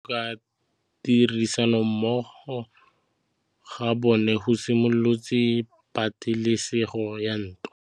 Go tlhoka tirsanommogo ga bone go simolotse patêlêsêgô ya ntwa.